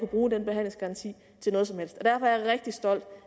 bruge den behandlingsgaranti til noget som helst derfor er jeg rigtig stolt